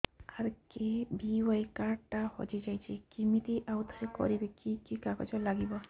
RKBY card ଟା ହଜିଯାଇଛି କିମିତି ଆଉଥରେ କରିବି କି କି କାଗଜ ଲାଗିବ